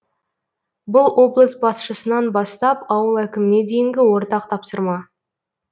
бұл облыс басшысынан бастап ауыл әкіміне дейінгі ортақ тапсырма